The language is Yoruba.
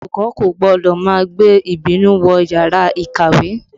Olùkọ́ kò gbọ́dọ̀ má gbé ìbínú wọ yàrá ìkàwé